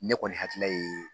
Ne kɔni hakilila ye